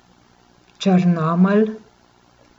Črnomelj.